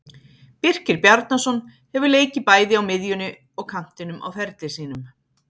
Birkir Bjarnason hefur leikið bæði á miðjunni og kantinum á ferli sínum.